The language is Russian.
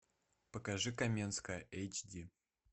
покажи каменская эйч ди